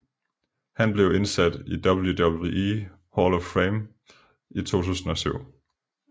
Han blev indsat i WWE Hall of Fame i 2007